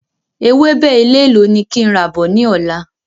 Ewébẹ̀ elélò ni kí n rà bọ̀ ni ọ̀la?